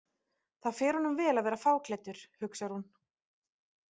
Það fer honum vel að vera fáklæddur, hugsar hún.